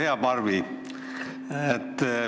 Hea Barbi!